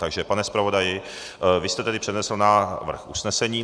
Takže, pane zpravodaji, vy jste tedy přednesl návrh usnesení.